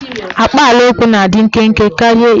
Akpaalaokwu na-adị nkenke karịa ilu.